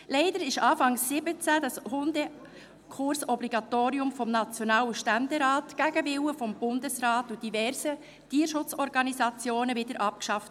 Leider wurde das Hundekursobligatorium Anfang 2017 vom National- und vom Ständerat gegen den Willen des Bundesrates und diverser Tierschutzorganisationen abgeschafft.